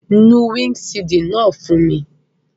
Nu windṣiidi naa fun mi!